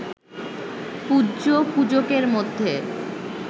পূজ্য, পূজকের মধ্যে